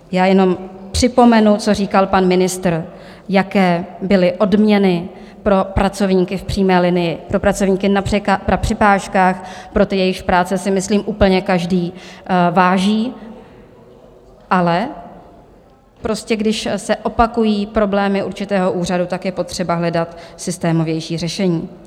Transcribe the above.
Já jenom připomenu, co říkal pan ministr, jaké byly odměny pro pracovníky v přímé linii, pro pracovníky na přepážkách, pro ty, jejichž práce si myslím úplně každý váží, ale prostě když se opakují problémy určitého úřadu, tak je potřeba hledat systémovější řešení.